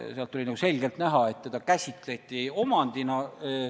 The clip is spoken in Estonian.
Sealt oli nagu selgelt näha, et seda käsitleti omandina.